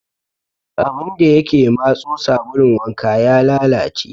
Abun da ya ke matso sabulun wanka ya lalace.